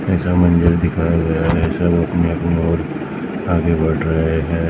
ऐसा मंजर दिखाया गया है सब अपनी अपनी ओर आगे बढ़ रहे है।